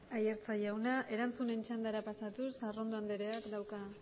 aiartza jauna erantzunen txandara pasatuz arrondo andreak dauka